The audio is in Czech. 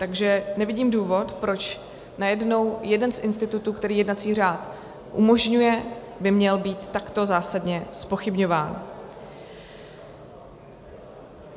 Takže nevidím důvod, proč najednou jeden z institutů, který jednací řád umožňuje, by měl být takto zásadně zpochybňován.